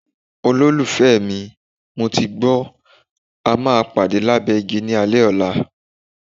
Olólùfẹ́ mi, mo ti gbọ́, a máa pàdé lábẹ́ igi ní alẹ́ ọ̀la.